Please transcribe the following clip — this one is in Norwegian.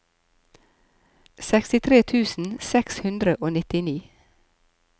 sekstitre tusen seks hundre og nittini